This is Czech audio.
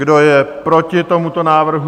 Kdo je proti tomuto návrhu?